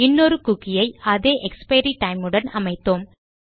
இன்னொரு குக்கி ஐ அதே எக்ஸ்பைரி டைம் உடன் அமைத்தோம்